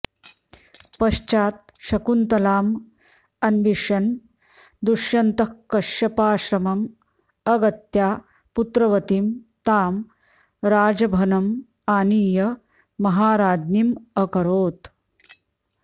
पश्चात् शकुन्तलाम् अन्विष्यन् दुष्यन्तः कश्यपाश्रमम् अगत्या पुत्रवतीं तां राजभनम् आनीय महाराज्ञीम् अकरोत्